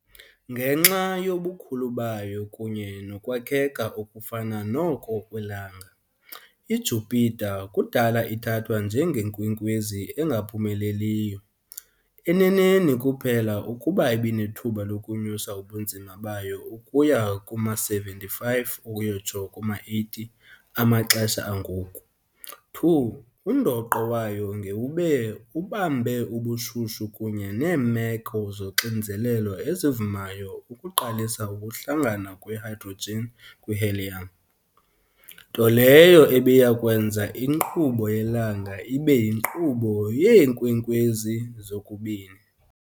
Ngenxa yobukhulu bayo kunye nokwakheka okufana noko kweLanga, iJupiter kudala ithathwa njenge " nkwenkwezi engaphumeleliyo "- eneneni kuphela ukuba ibinethuba lokunyusa ubunzima bayo ukuya kuma-75-80 amaxesha angoku [ 2 undoqo wayo ngewube ubambe ubushushu kunye neemeko zoxinzelelo ezivumayo ukuqalisa ukuhlangana kwe-hydrogen kwi-helium, nto leyo ebiya kwenza inkqubo yelanga ibe yinkqubo yeenkwenkwezi zokubini.